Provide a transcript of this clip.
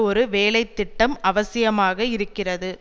ஒரு வேலை திட்டம் அவசியமாக இருக்கிறது